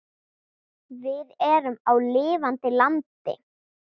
Við erum á lifandi landi.